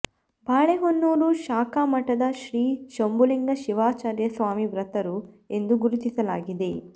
ಬಾಳೆಹೊನ್ನೂರು ಶಾಖಾಮಠದ ಶ್ರೀ ಶಂಭುಲಿಂಗ ಶಿವಾಚಾರ್ಯ ಸ್ವಾಮಿ ಮೃತರು ಎಂದು ಗುರುತಿಸಲಾಗಿದೆ